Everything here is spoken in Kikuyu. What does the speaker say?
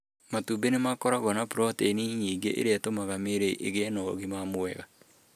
Matube nĩ makoragwo na proteini nyingĩ iria itũmaga mĩĩrĩ ĩgĩe na ũgima mwega.